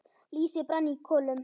Lýsi brann í kolum.